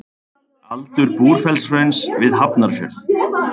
Aldur Búrfellshrauns við Hafnarfjörð.